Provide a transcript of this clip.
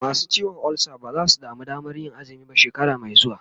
masu ciwon ulsa ba zasu samu Damanr Yin azumi ba shekara Mai xuwa